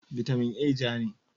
Vitamin A ja ne.